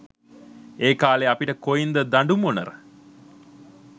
ඒකාලේ අපිට කොයින්ද දඩුමොණර